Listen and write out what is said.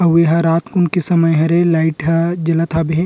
अउ एहा रात कुन के समय हरे लाइट ह जलत हा बे हे।